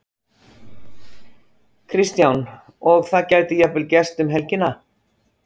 Kristján: Og það gæti jafnvel gerst um helgina?